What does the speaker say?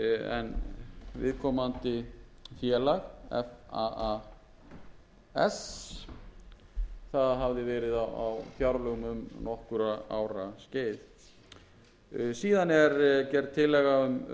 en viðkomandi félag faas hafði verið á fjárlögum um nokkurra ára skeið síðan er gerð tillaga um